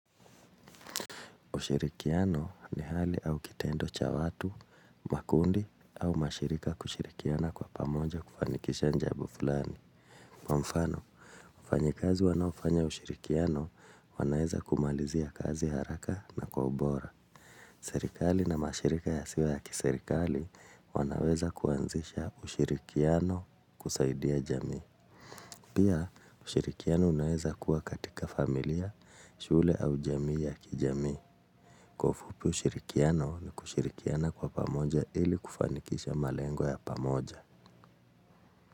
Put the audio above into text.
Ushirikiano ni hali au kitendo cha watu, makundi au mashirika kushirikiana kwa pamoja kufanikisha jambo fulani. Kwa mfano, wafanyikazi wanaofanya ushirikiano wanaeza kumalizia kazi haraka na kwa ubora. Serikali na mashirika yasiyo ya kiserikali wanaweza kuanzisha ushirikiano kusaidia jamii. Pia, ushirikiano unaeza kuwa katika familia, shule au jamii ya kijamii. Kwa ufupi ushirikiano ni kushirikiana kwa pamoja ili kufanikisha malengo ya pamoja.